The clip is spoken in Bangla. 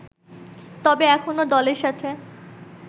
তবে এখনও দলের সাথে